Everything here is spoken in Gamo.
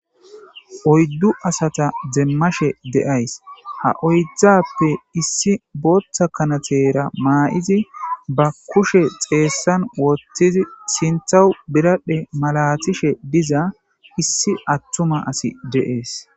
oyddu asata demmashe de7ays ha oyddzappe issi booththa kanatera maa7izi ba kushe xeessan wotthizi sinthawu biradhe malaatishe diza issi attuma asi de7ees